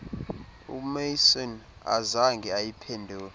umaison azange ayiphendule